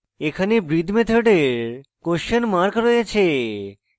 এখানে breathe মেথডের question mark রয়েছে যা